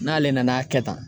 N'ale nana kɛ tan